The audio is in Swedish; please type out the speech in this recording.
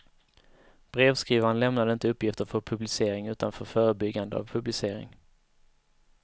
Brevskrivaren lämnade inte uppgifter för publicering utan för förebyggande av publicering.